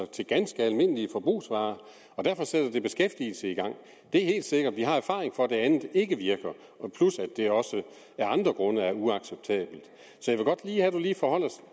til ganske almindelige forbrugsvarer og derfor sætter det i beskæftigelsen det er helt sikkert vi har erfaring for at det andet ikke virker plus at det også af andre grunde er uacceptabelt så